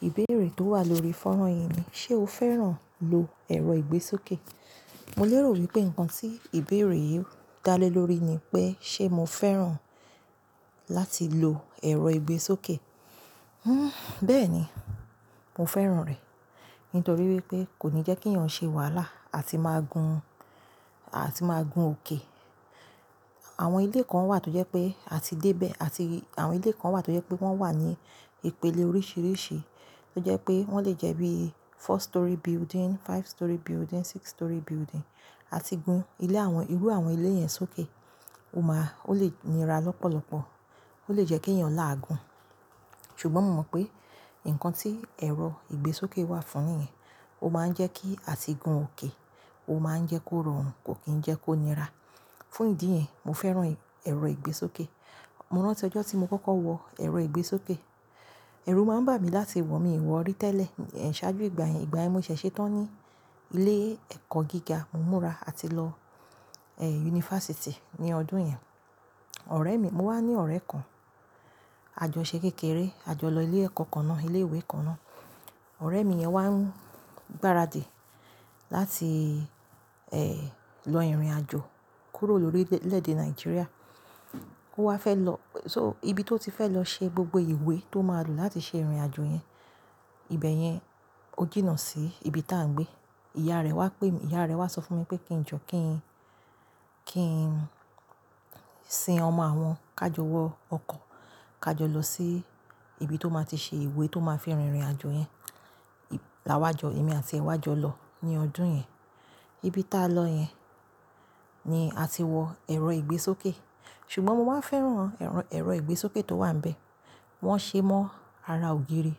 Ìbéèrè tó wà lórí fonran yìí ni, ṣé o fẹ́ràn lo ẹ̀rọ ìgbésókè? Mo lérò wípé nǹkan tí ìbéèrè yìí dá lé lórí ni pé ṣé mo fẹ́ràn láti lo ẹ̀rọ ìgbésókè? Hmm bẹ́ẹ̀ni, mo fẹ́ràn rẹ̀. Nítorí wípé kò ní jẹ́ kí èèyàn ṣe wàhálà àti máa gun, àti máa gun òkè. Àwọn ilé kan wà tó jẹ́ pé a ti dé bẹ́ àti àwọn ilé kan wà tó jẹ́ pé wọ́n wà ní ìpele oríṣìíríṣìí, tó jẹ́ pé wọ́n lè jẹ́ bí four storey building, five storey building, six storey building. A ti gun ilé àwọn, irú àwọn ilé yẹn sókè. Ó máa, ó lè nira lọ́pọ̀lọ́pọ̀. Ó lè jẹ́ kí èèyàn làágun. Ṣùgbọ́n mo mọ̀ pé nǹkan tí ẹ̀rọ ìgbésókè wà fún niyen, ó máa ń jẹ́ kí a ti gun òkè, ó máa ń jẹ́ kó rọrùn, kò kí ń jẹ́ kó nira. Fún ìdí yẹn, mo fẹ́ràn ẹ̀rọ ìgbésókè. Mo rántí ọjọ́ tí mo kọ́kọ́ wọ ẹ̀rọ ìgbésókè. Ẹ̀rù máa ń bà mí láti wọ̀, mi ò wọ̀ rí tẹ́lẹ̀. Ẹ̀ ṣáájú ìgbà yẹn, ìgbà ẹ́ mo ṣẹ̀ ṣe tán ní ilé ẹ̀kọ́ gíga, mo múra àti lọ, eh university ní ọdún yẹn. Ọ̀rẹ́ mi, mo wá ní ọ̀rẹ́ kan. A jọ ṣẹ kékéré, a jọ lọ ilé ẹ̀kọ́ kan náà, ilé ìwé kan náà. Ọ̀rẹ́ mi yẹn wá ń gbáradì láti, eh lọ ìrìnàjò kúrò lórí lédè Nigeria. Ó wá fẹ́ lọ, so ibi tó ti fẹ́ lọ ṣe gbogbo ìwé tó máa lò láti ṣe ìrìnàjò yẹn. Ibẹ̀ yẹn ó jìnnà sí ibi tá ń gbé. Ìyá rẹ̀ wá pè mí, ìyá rẹ wá sọ fún mi pé kí n jọ kí n, kí n sin ọmọ àwọn, ká jọ wọ ọkọ̀, ká jọ lọ sí ibi tó máa ti ṣe ìwé tó máa fi rin ìrìnàjò yẹn. Láwájọ, èmi àti ìwájọ lọ ní ọdún yẹn. Ibi tá lọ yẹn ni a ti wọ ẹ̀rọ ìgbésókè. Ṣùgbọ́n mo wá fẹ́ràn ẹ̀rọ, ẹ̀rọ ìgbésókè tó wà níbẹ̀. Wọ́n ṣe é mọ́ ara ògiri.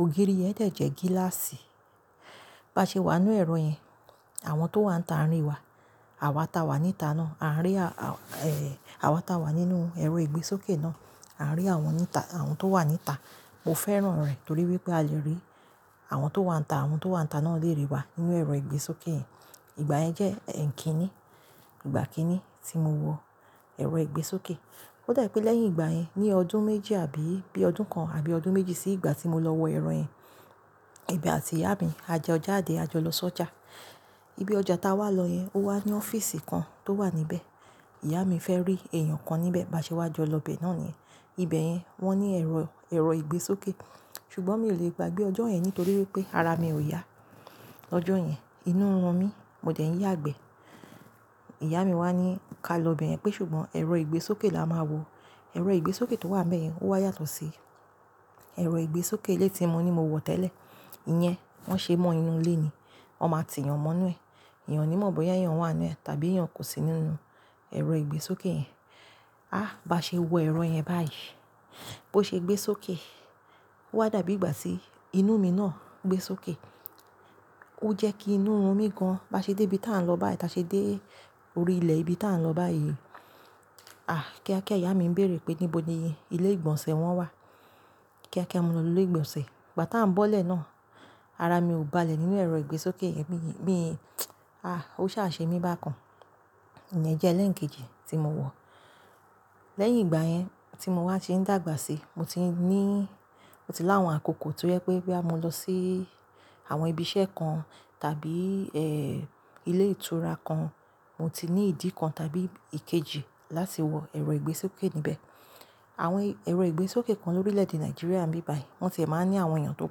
Ògiri yẹn de jẹ́ gíláàsì. Bá ṣe wà nínú ẹ̀rọ yẹn, àwọn tó wà níta rí wa. Àwa ta wà níta náà, à ń rí a, eh àwa ta wà nínú ẹ̀rọ ìgbésókè náà, à ń rí àwọn níta, àwọn tó wà níta. Mo fẹ́ràn rẹ̀ torí wípé a lè rí àwọn tó wà níta, àwọn tó wà níta náà lè rí wa nínú ẹ̀rọ ìgbésókè yẹn. Ìgbà yẹn jẹ́ ẹ́ńkíní, ìgbà kíní tí mo wọ ẹ̀rọ ìgbésókè. Ó dà pé lẹ́yìn ìgbà yẹn, ní ọdún méjì àbí bí ọdún kan àbí ọdún méjì sí ìgbà tí mo lọ wọ ẹ̀rọ yẹn, èmi àti ìyá mi, a jẹ ọjà, a dé a jọ lọ sọ́jà. Ibi ọjà tá wá lọ yẹn, ó wá ní ọ́fíìsì kan tó wà níbẹ̀. Ìyá mi fẹ́ rí èèyàn kan níbẹ̀, bá ṣe wá jọ lọ bẹ́ náà niyẹn. Ibẹ̀ yẹn wọ́n ní ẹ̀rọ, ẹ̀rọ ìgbésókè. Ṣùgbọ́n mi ò lè gbàgbé ọjọ́ yẹn nítorí wípé ara mi ò yá. Ọjọ́ yẹn inú n run mí, mo dẹ̀ n yàgbẹ́. Ìyá mi wá ní ká lọ bẹ̀yẹn pé ṣùgbọ́n ẹ̀rọ ìgbésókè la máa wọ̀. Ẹ̀rọ ìgbésókè tó wà níbẹ̀ yẹn ó wá yàtọ̀ sí ẹ̀rọ ìgbésókè ilé tí mo ní mo wọ̀ tẹ́lẹ̀. Iyẹn wọ́n ṣe é mọ́ inú ilé ni. Wọ́n máa ti yan mọ́ inú ẹ̀. Èèyàn ní mọ̀ bóyá èèyàn wà nínú ẹ tàbí èèyàn kò sí nínú ẹ̀rọ ìgbésókè yẹn. Ah bá ṣe wọ ẹ̀rọ yẹn báyìí bó ṣe gbé sókè, ó wá dàbí ìgbà tí inú mi náà gbé sókè. Ó jẹ́ kí inú run mí gan. Bá ṣe dé ibi tá ń lọ báyìí, táa ṣe dé orí ilẹ̀ ibi tá ń lọ báyìí. Ah kíákíá ìyá mi ń béèrè pé níbo ni ilé ìgbọ̀nsẹ̀ wọ́n wà. Kíákíá mo lọ lọ ilé ìgbọ̀nsẹ̀. Ìgbà tá ń bọ́lẹ̀ náà, ara mi ò balẹ̀ nínú ẹ̀rọ ìgbésókè yẹn bí, mí ah ó sá ṣe mi bákan. Ìyẹn jẹ́ ẹlẹ́ẹ̀kejì tí mo wọ̀. Lẹ́yìn ìgbà yẹn tí mo wá ti ń dàgbà sí i, mo ti ní, mo ti láwọn àkókò tó jẹ́ pé bí a mo lọ sí àwọn ibi iṣẹ́ kan tàbí eh ilé ìtura kan, mo ti ní ìdí kan tàbí ìkejì láti wọ ẹ̀rọ ìgbésókè níbẹ̀. Àwọn ẹ̀rọ ìgbésókè kan lórílẹ̀ èdè Nàìjíríà ń bí báyìí. Wọ́n tie máa ń ní àwọn èèyàn tó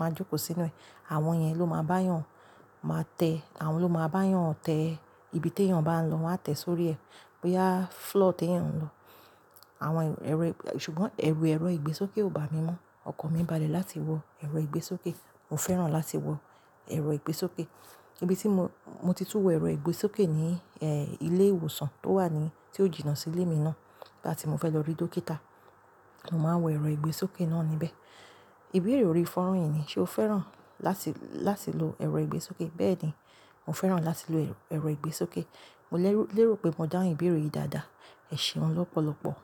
máa ń jókòó sínú rẹ̀. Àwọn yẹn ló máa bá èèyàn máa tẹ́, àwọn ló máa bá èèyàn tẹ ibi tí èèyàn bá ń lọ, wọ́n á tẹ̀ sórí ẹ. Boya floor tí èèyàn ń lọ. Àwọn ẹ̀rọ ìgb-- ṣùgbọ́n ẹ̀rù ẹ̀rọ ìgbésókè ò bà mí mọ́. Ọkàn mi bà lé láti wọ ẹ̀rọ ìgbésókè. Mo fẹ́ràn láti wọ ẹ̀rọ ìgbésókè. Ibi tí mo, mo ti tún wọ ẹ̀rọ ìgbésókè ni eh ilé ìwòsàn tó wà ní, tí ó jìnnà sí ilé mi náà. Nigba tí mo fẹ́ lọ rí dókítà, mo máa wọ ẹ̀rọ ìgbésókè náà níbẹ̀. Ìbéèrè orí fonran yìí ni, ṣe o fẹ́ràn láti, láti lo ẹ̀rọ ìgbésókè? Bẹ́ẹ̀ni, mo fẹ́ràn láti lo ẹ̀rọ, ẹ̀rọ ìgbésókè. Mo lẹ́rú, lérò pé mo dáhùn ìbéèrè yìí dáadáa. Ẹ̀ṣẹ̀un lọ́pọ̀lọ́pọ̀.